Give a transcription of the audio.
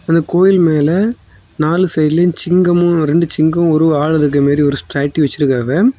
அந்த கோயில் மேல நாலு சைடிலேயும் சிங்கமும் ரெண்டு சிங்கமும் ஒரு ஆளும் இருக்கிற மாரி ஒரு ஸ்டாச்சு வச்சிருக்காவ.